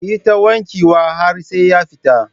Ki yi ta wanke wa har sai ya fita.